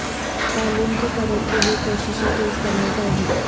تعلیم کے فروغ کے لیے کوششیں تیز کرنے کا عزم